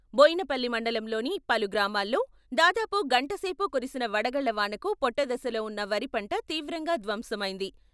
బోయినపల్లి మండలంలోని పలు గ్రామాల్లో దాదాపు గంటసేపు కురిసిన వడగళ్ళ వానకు పొట్టదశలో ఉన్న వరిపంట తీవ్రంగా ధ్వంసమైంది.